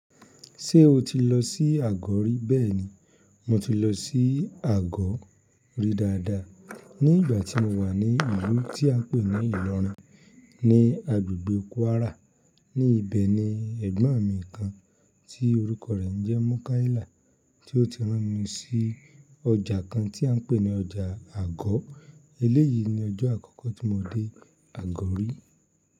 Ṣé o ti lọ sí Àgọ̀ rí? Bẹ́ẹ̀ni, mo ti lọ sí Àgọ̀ rí dáadáa. Ní ìgbà tí mo wà ní ìlú tí a pè ní Ìlọrin ní agbègbè Kwara. Ní ibẹ̀ ni ẹ̀gbọ́n mi kan tí orúkọ rẹ̀ ń jẹ́ Mọúkáìlà, tí ó ti rán mi sí ọjà kan tí à ń pè ní ọjà Àgọ̀. Eléyìí ni ọjọ́ àkọ́kọ́ tí mo dé Àgọ̀ rí.